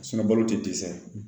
balo tɛ dɛsɛ